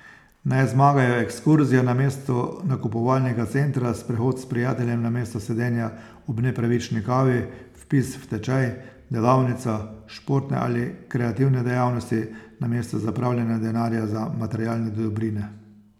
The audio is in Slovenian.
Naj zmagajo ekskurzija namesto nakupovalnega centra, sprehod s prijateljem namesto sedenja ob nepravični kavi, vpis v tečaj, delavnica, športne ali kreativne dejavnosti namesto zapravljanja denarja za materialne dobrine.